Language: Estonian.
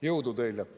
Jõudu teile!